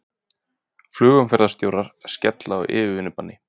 Flugumferðarstjórar skella á yfirvinnubanni